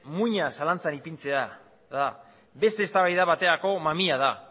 muina zalantzan ipintzea da beste eztabaida baterako mamia da